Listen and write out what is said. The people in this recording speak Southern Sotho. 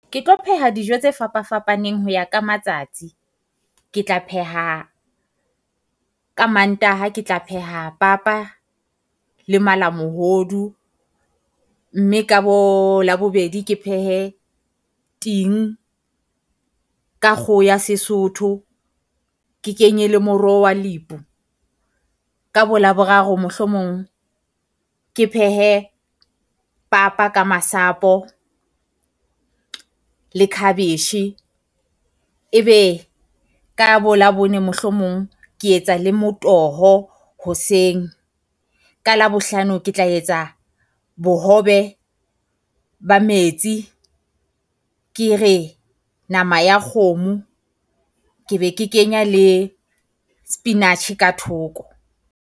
Ke tlo pheha dijo tse fapafapaneng ho ya ka matsatsi, ke tla pheha ka Mantaha ke tla pheha papa le malamohodu. Mme ka bo Labobedi ke phehe ting ka kgoho ya Sesotho, ke kenye le moroho wa lebo. Ka bo Laboraro mohlomong ke phehe papa ka masapo le cabbage, ebe ka bo Labone mohlomong ke etsa le motoho hoseng. Ka Labohlano Ke tla etsa bohobe ba metsi, ke re nama ya kgomo ke be ke kenya le spinach ka thoko.